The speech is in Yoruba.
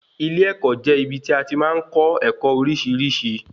Ilé-ẹ̀kọ́ jẹ́ ibí tí a tí màá n kọ́ ẹ̀kọ́ oríṣiríṣi